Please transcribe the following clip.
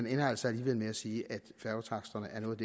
ender altså alligevel med at sige at færgetaksterne er noget af